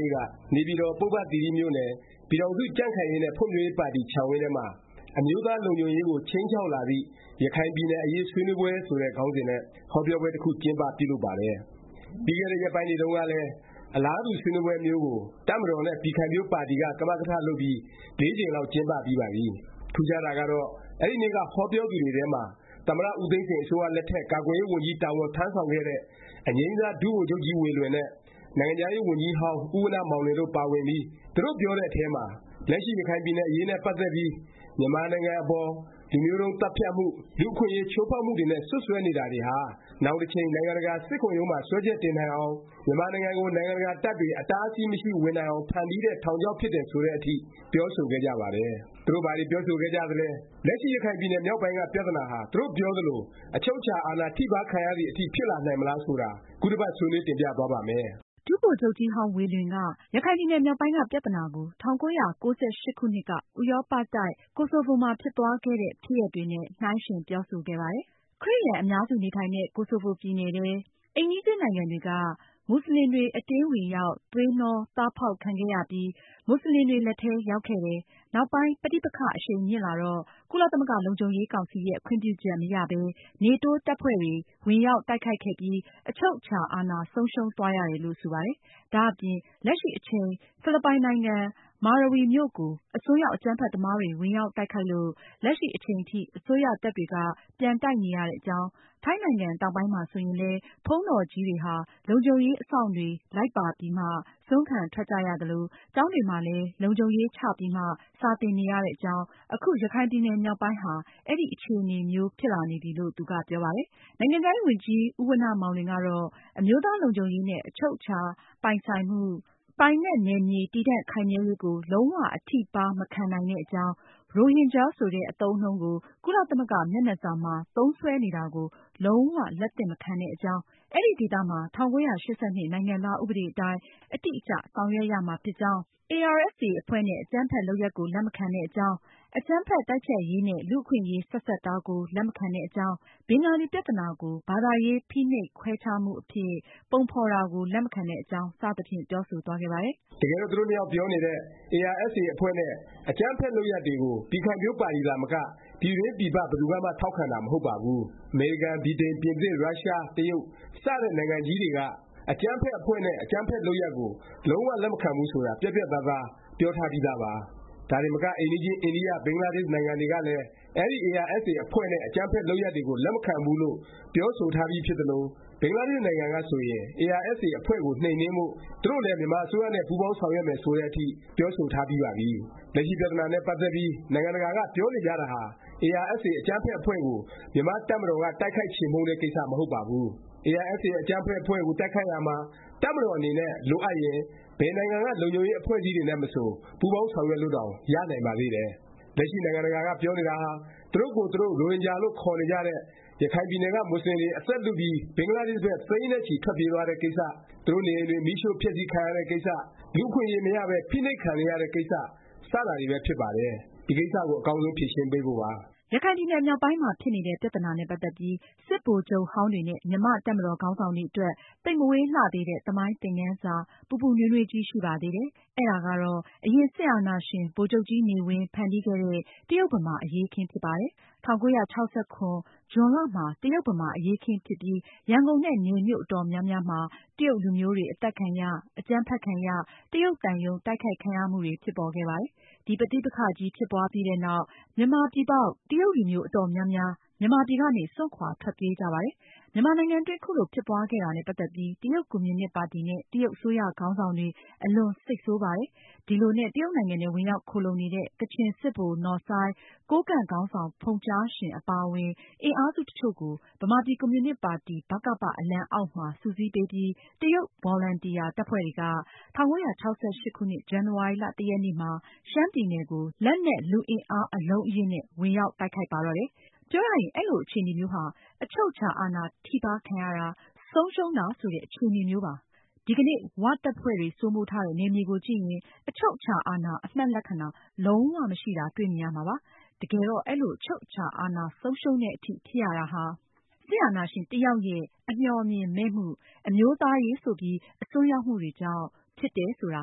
နေ့က နေပြည်တော် ပုဗ္ဗသီရိမြို့နယ် ပြည်ထောင်စု ကြံ့ခိုင်ရေးနဲ့ ဖွံ့ဖြိုးရေးပါတီ ခြံဝင်းထဲမှာ “ အမျိုးသား လုံခြုံရေးကို ခြိမ်းခြောက်လာသည့် ရခိုင်ပြည်နယ် အရေး ဆွေးနွေးပွဲ” ဆိုတဲ့ ခေါင်းစဉ်နဲ့ ဟောပြောပွဲတစ်ခု ကျင်းပ ပြုလုပ်ပါတယ်။ ပြီးခဲ့တဲ့ ရက်ပိုင်းတွေတုန်းကလည်း အလားတူ ဆွေးနွေးပွဲမျိုးကို တပ်မတော်နဲ့ ပြည်ခိုင်ဖြိုးပါတီက ကမကထ လုပ်ပြီး ၄ ကြိမ်လောက် ကျင်းပပြီးပါပြီ။ ထူးခြားတာကတော့ အဲဒီနေ့က ဟောပြောသူတွေထဲမှာ သမ္မတ ဦးသိန်းစိန် အစိုးရလက်ထက် ကာကွယ်ရေးဝန်ကြီး တာဝန်ထမ်းဆောင်ခဲ့တဲ့ အငြိမ်းစား ဒုဗိုလ်ချုပ်ကြီးဝေလွင်နဲ့ နိုင်ငံခြားရေးဝန်ကြီးဟောင်း ဦးဝဏ္ဏမောင်လွင်တို့ ပါဝင်ပြီး သူတို့ ပြောတဲ့အထဲမှာ လက်ရှိ ရခိုင်ပြည်နယ်အရေးနဲ့ ပတ်သက်ပြီး မြန်မာနိုင်ငံအပေါ် လူမျိုးတုန်း သတ်ဖြတ်မှု၊ လူ့အခွင့်အရေး ချိုးဖေါက်မှုတွေနဲ့ စွတ်စွဲနေတာတွေဟာ နောင်တစ်ချိန် နိုင်ငံတကာ စစ်ခုံရုံးမှာ စွဲချက်တင်နိုင်အောင်၊ မြန်မာနိုင်ငံကို နိုင်ငံတကာ တပ်တွေ အတားအဆီး မရှိ ဝင်နိုင်အောင် ဖန်တီးထားတဲ့ ထောင်ချောက်ဖြစ်တယ် ဆိုတဲ့အထိ ပြောဆိုခဲ့ကြပါတယ်။ သူတို့ ဘာတွေ ပြောဆိုခဲ့ကြသလဲ၊ လက်ရှိ ရခိုင်ပြည်နယ်မြောက်ပိုင်းက ပြသနာဟာ သူတို့ပြောသလို အချုပ်အခြာ အာဏာထိပါး ခံရသည် အထိ ဖြစ်လာနိုင်မလား ဆိုတာ ခုတစ်ပတ် ဆွေးနွေး တင်ပြသွားပါ့မယ်။ ဒုဗိုလ်ချုပ်ကြီးဟောင်း ဝေလွင်က ရခိုင်ပြည်နယ် မြောက်ပိုင်းက ပြသနာကို ၁၉၉၈ ခုနှစ်က ဥရောပတိုက် ကိုဆိုဗို မှာ ဖြစ်သွားခဲ့တဲ့ ဖြစ်ရပ်တွေနဲ့ နှိုင်းယှဉ်ပြောဆိုခဲ့ပါတယ်။ ခရစ်ယာန် အများစုနေထိုင်တဲ့ ကိုဆိုဗိုပြည်နယ်ထဲ အိမ်နီးချင်းနိုင်ငံတွေက မူဆလင်တွေ အတင်းဝင်ရောက် သွေးနှောသားဖေါက် ခံခဲ့ရပြီး မူဆလင်တွေ လက်ထဲရောက်ခဲ့တယ်။ နောက်ပိုင်း ပဋိပက္ခ အရှိန်မြင့်လာတော့ ကုလသမဂ္ဂ လုံခြုံရေးကောင်စီရဲ့ ခွင့်ပြုချက်မရပဲ နေတိုးတပ်ဖွဲ့တွေ ဝင်ရောက်တိုက်ခိုက်ခဲ့ပြီး အချုပ်အခြာ အာဏာ ဆုံးရှုံးသွားရတယ်လို့ ဆိုပါတယ်။ ဒါ့အပြင် လက်ရှိအချိန် ဖိလစ်ပိုင်နိုင်ငံ မာရဝီမြို့ကို အစွန်းရောက် အကြမ်းဖက်သမားတွေ ဝင်ရောက် တိုက်ခိုက်လို့၊ လက်ရှိ အချိန်ထိ အစိုးရတပ်တွေက ပြန်တိုက်နေရတဲ့အကြောင်း၊ ထိုင်းနိုင်ငံ တောင်ပိုင်းမှာ ဆိုရင်လည်း ဘုန်းတော်ကြီးတွေဟာ လုံခြုံရေး အစောင့်တွေ လိုက်ပါပြီးမှ ဆွမ်းခံ ထွက်ကြရသလို၊ ကျောင်းတွေမှာလည်း လုံခြုံရေးချပြီးမှ စာသင်နေရတဲ့အကြောင်း အခု ရခိုင်ပြည်နယ် မြောက်ပိုင်းဟာ အဲဒီ အခြေအနေမျိုး ဖြစ်လာနေပြီလို့ သူက ပြောပါတယ်။ နိုင်ငံခြားရေးဝန်ကြီး ဦးဝဏ္ဏမောင်လွင်ကတော့ အမျိုးသားလုံခြုံရေးနဲ့ အချုပ်အခြာ ပိုင်ဆိုင်မှု၊ ပိုင်နက်နယ်မြေ တည်တံ့ခိုင်မြဲရေးကို လုံး၀ အထိပါး မခံနိုင်တဲ့အကြောင်း၊ ရိုဟင်ဂျာ ဆိုတဲ့ အသုံးအနှုန်းကို ကုလသမဂ္ဂ မျက်နှာစာမှာ သုံးစွဲနေတာကို လုံး၀ လက်သင့်မခံတဲ့အကြောင်း၊ အဲဒီဒေသမှာ ၁၉၈၂ နိုင်ငံသား ဥပဒေအတိုင်း အတိအကျ ဆောင်ရွက်ရမှာ ဖြစ်ကြောင်း၊ ARSA အဖွဲ့နဲ့ အကြမ်းဖက် လုပ်ရပ်ကို လက်မခံတဲ့အကြောင်း၊ အကြမ်းဖက် တိုက်ဖျက်ရေးနဲ့ လူ့အခွင့်အရေး ဆက်စပ်တာကို လက်မခံတဲ့အကြောင်း၊ ဘင်္ဂလီ ပြသနာကို ဘာသာရေး ဖိနှိပ်ခွဲခြားမှု အဖြစ် ပုံဖော်တာကို လက်မခံတဲ့အကြောင်း စသဖြင့် ပြောဆိုသွားခဲ့ပါတယ်။ တကယ်တော့ သူတို့နှစ်ယောက် ပြောနေတဲ့ ARSA အဖွဲ့နဲ့ အကြမ်းဖက် လုပ်ရပ်တွေကို ပြည်ခိုင်ဖြိုးပါတီသာမက ပြည်တွင်း၊ပြည်ပ ဘယ်သူကမှ ထောက်ခံတာ မဟုတ်ပါဘူး။ အမေရိကန်၊ ဗြိတိန်၊ ပြင်သစ်၊ ရုရှား၊ တရုတ် စတဲ့ နိုင်ငံကြီးတွေက အကြမ်းဖက် အဖွဲ့နဲ့ အကြမ်းဖက် လုပ်ရပ်ကို လုံး၀ လက်မခံဘူး ဆိုတာ ပြတ်ပြတ်သားသား ပြောထားပြီးသားပါ။ ဒါတင်မက အိမ်နီးချင်း အိန္ဒိယ၊ ဘင်္ဂလားဒေ့ရှ် နိုင်ငံတွေကလည်း အဲဒီ ARSA အဖွဲ့နဲ့ အကြမ်းဖက် လုပ်ရပ်တွေကို လက်မခံဘူးလို့ ပြောဆိုထားပြီး ဖြစ်သလို၊ ဘင်္ဂလားဒေ့ရှ် နိုင်ငံက ဆိုရင် ARSA အဖွဲ့ကို နှိမ်နင်းဖို့ သူတို့လည်း မြန်မာအစိုးရနဲ့ ပူးပေါင်းဆောင်ရွက်မယ် ဆိုတဲ့ အထိ ပြောဆိုထား ပြီးပါပြီ။ လက်ရှိပြသနာနဲ့ ပတ်သက်ပြီး နိုင်ငံတကာက ပြောနေကြတာဟာ ARSA အကြမ်းဖက် အဖွဲ့ကို မြန်မာ့တပ်မတော်က တိုက်ခိုက် ချေမှုန်းတဲ့ ကိစ္စ မဟုတ်ပါဘူး။ ARSA အကြမ်းဖက် အဖွဲ့ကို တိုက်ခိုက်ရာမှာ တပ်မတော်အနေနဲ့ လိုအပ်ရင်၊ ဘယ်နိုင်ငံက လုံခြုံရေး အဖွဲ့အစည်းတွေနဲ့မဆို ပူးပေါင်းဆောင်ရွက်လို့တောင် ရနိုင်ပါသေးတယ်။ လက်ရှိ နိုင်ငံတကာက ပြောနေတာဟာ သူတို့ကိုယ်သူတို့ ရိုဟင်ဂျာလို့ ခေါ်နေကြတဲ့ ရခိုင်ပြည်နယ်က မူဆလင်တွေ အသက်လုပြီး ဘင်္ဂလားဒေ့ရှ်ဘက် သိန်းနဲ့ချီ ထွက်ပြေးသွားတဲ့ကိစ္စ၊ သူတို့နေအိမ်တွေ မီးရှို့ဖျက်ဆီးခံရတဲ့ကိစ္စ၊ လူ့အခွင့်အရေး မရပဲ ဖိနှိပ်ခံနေရတဲ့ ကိစ္စ စတာတွေပဲ ဖြစ်ပါတယ်။ ဒီကိစ္စကို အကောင်းဆုံး ဖြေရှင်းဖို့ပါ။ ရခိုင်ပြည်နယ် မြောက်ပိုင်းမှာ ဖြစ်နေတဲ့ ပြသနာနဲ့ ပတ်သက်ပြီး စစ်ဗိုလ်ချုပ်ဟောင်းတွေ နဲ့ မြန်မာ့တပ်မတော် ခေါင်းဆောင်တွေအတွက် သိပ်မဝေးလှသေးတဲ့ သမိုင်းသင်ခန်းစာ ပူပူနွေးနွေးကြီး ရှိပါသေးတယ်။ အဲဒါကတော့ အရင် စစ်အာဏာရှင် ဗိုလ်ချုပ်ကြီးနေဝင်း ဖန်တီးခဲ့တဲ့ တရုတ်-ဗမာ အရေးအခင်း ဖြစ်ပါတယ်။ ၁၉၆၇ ဇွန်လမှာ တရုတ်-ဗမာ အရေးအခင်းဖြစ်ပြီး ရန်ကုန်နဲ့ နယ်မြို့ အတော်များများမှာ တရုတ်လူမျိုးတွေ အသတ်ခံရ၊ အကြမ်းဖက်ခံရ၊ တရုတ်သံရုံး တိုက်ခိုက်ခံရမှုတွေ ဖြစ်ပေါ်ခဲ့ပါတယ်။ ဒီပဋိပက္ခကြီး ဖြစ်ပွားပြီးနောက် မြန်မာပြည်ပေါက် တရုတ်လူမျိုး အတော်များများ မြန်မာပြည်ကနေ စွန့်ခွာ ထွက်ပြေးကြပါတယ်။ မြန်မာနိုင်ငံအတွင်း ခုလို ဖြစ်ပွားခဲ့တာနဲ့ ပတ်သက်ပြီး တရုတ်ကွန်မြူနစ်ပါတီနဲ့ တရုတ် အစိုးရ ခေါင်းဆောင်တွေ အလွန် စိတ်ဆိုးပါတယ်။ ဒီလိုနဲ့ တရုတ်နိုင်ငံထဲ ဝင်ရောက်ခိုလှုံနေတဲ့ ကချင်စစ်ဗိုလ် နော်ဆိုင်း၊ ကိုးကန့် ခေါင်းဆောင် ဖုန်ကြားရှင်း အပါအဝင် အင်အားစု တစ်ချို့ကို ဗမာပြည် ကွန်မြူနစ် ပါတီ အလံအောက်မှာ စုစည်းပေးပြီး တရုတ်ဗော်လံတီယာ တပ်ဖွဲ့တွေက ၁၉၆၈ ခုနှစ် ဇန်နဝါရီ ၁ ရက်နေ့မှာ ရှမ်းပြည်နယ်ကို လက်နက်လူသူအင်အား အလုံးအရင်းနဲ့ ဝင်ရောက်တိုက်ခိုက်ပါတော့တယ်။ ပြောရရင် အဲလို အခြေအနေမျိုးဟာ အချုပ်အခြာအာဏာ ထိပါးခံရတယ်၊ ဆုံးရှုံးတယ် ဆိုတဲ့ အခြေအနေမျိုးပါ။ ဒီကနေ့ ၀ တပ်ဖွဲ့တွေ စိုးမိုးထားတဲ့ နယ်မြေကိုကြည့်ရင် အချုပ်အခြာအာဏာ အမှတ်လက္ခဏာ လုံး၀ မရှိတာ တွေ့မြင်ရမှာပါ။ တကယ်တော့ အဲလို အချုပ်အခြာ အာဏာ ဆုံးရှုံးသည် အထိ ဖြစ်ရတာဟာ စစ်အာဏာရှင် တစ်ယောက်ရဲ့ အမျှော်အမြင်မဲ့မှု၊ အမျိုးသားရေး ဆိုပြီး အစွန်းရောက်မှုတွေကြောင့် ဖြစ်တယ် ဆိုတာ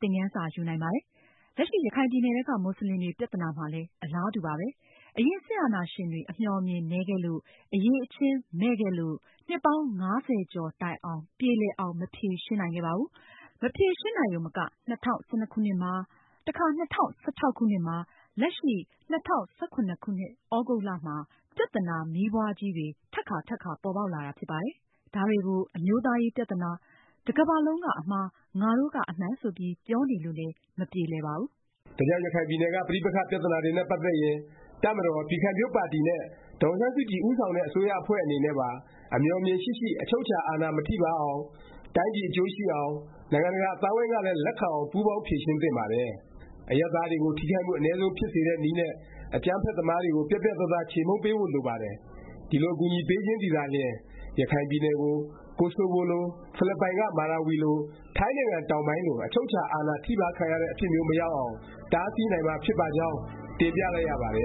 သင်ခန်းစာ ယူနိုင်ပါတယ်။ လက်ရှိ ရခိုင်ပြည်နယ်ထဲက မူဆလင်တွေပြသနာမှာလည်း အလားတူပါပဲ။ အရင် စစ်အာဏာရှင်တွေ အမျှော်အမြင် နည်းခဲ့လို့၊ အရည်အချင်း မဲ့ခဲ့လို့ နှစ်ပေါင်း ၅၀ ကျော်တိုင်အောင် ပြေလည်အောင် မဖြေရှင်းနိုင်ခဲ့ပါဘူး။ မဖြေရှင်းနိုင်ရုံမက ၂၀၁၂ မှာ ၂၀၁၆ မှာ လက်ရှိ ၂၀၁၇ သြဂုတ်မှာ ပြသနာမီးပွားကြီးတွေ ထပ်ကာ ထပ်ကာ ပေါ်ပေါက်လာတာ ဖြစ်ပါတယ်။ ဒါတွေကို အမျိုးသားရေး ပြသနာ၊ တကမ္ဘာလုံးက အမှား၊ ငါတို့ကမှ အမှန်ဆိုပြီး ပြောနေလို့လည်း မပြေလည်ပါဘူး။ ဒါကြောင့် ရခိုင်ပြည်နယ် က ပဋိပက္ခ ပြသနာတွေနဲ့ ပတ်သက်ရင် တပ်မတော်၊ ပြည်ခိုင်ဖြိုးပါတီနဲ့ ဒေါ်အောင်ဆန်းစုကြည် ဦးဆောင်တဲ့ အစိုးရအဖွဲ့အနေနဲ့ပါ အမျှော်အမြင်ရှိရှိ၊ အချုပ်အခြာ အာဏာ မထိပါးအောင်၊ တိုင်းပြည် အကျိုးရှိအောင်၊ နိုင်ငံတကာ အသိုင်းအဝိုင်းကလည်း လက်ခံအောင် ပူးပေါင်း ဖြေရှင်းသင့်ပါတယ်။ အရပ်သားတွေကို ထိခိုက်မှု အနည်းဆုံး ဖြစ်စေတဲ့နည်းနဲ့ အကြမ်းဖက်သမားတွေကို ပြတ်ပြတ်သားသား ချေမှုန်းပေးဖို့ လိုပါတယ်။ ဒီလို အကူအညီပေးခြင်းသည်သာလျင် ရခိုင်ပြည်နယ်ကို ကိုဆိုဗိုလို၊ ဖိလစ်ပိုင်က မာရာဝီလို၊ ထိုင်းနိုင်ငံတောင်ပိုင်းလို အချုပ်အခြာ အာဏာ ထိပါးခံရတဲ့ အဖြစ်မျိုး မရောက်အောင် တားဆီးနိုင်မှာ ဖြစ်ပါကြောင်း တင်ပြလိုက်ရပါတယ